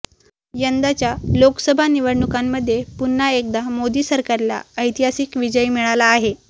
यंदाच्या लोकसभा निवडणुकांमध्ये पुन्हा एकदा मोदी सरकारला ऐतिहासिक विजय मिळाला आहे